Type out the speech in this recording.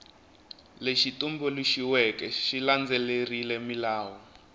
lexi tumbuluxiweke xi landzelerile milawu